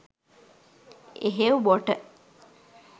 එහෙව් බොට